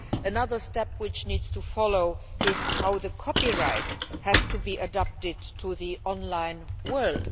another step which needs to follow is how the copyright has to be adapted to the online world.